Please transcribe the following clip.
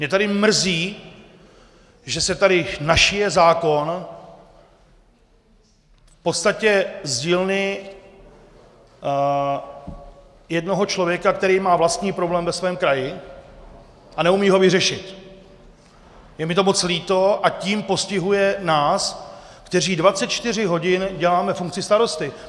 Mě tady mrzí, že se tady našije zákon v podstatě z dílny jednoho člověka, který má vlastní problém ve svém kraji a neumí ho vyřešit, je mi to moc líto, a tím postihuje nás, kteří 24 hodin děláme funkci starosty.